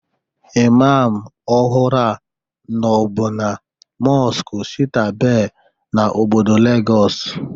Imam ọhụrụ a nọbụ na mọskụ Shita-Be n'obodo Legọs